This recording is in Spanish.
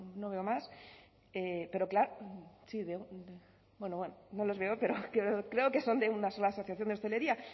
no veo a más pero claro sí bueno no les veo pero creo que son de una sola asociación de hostelería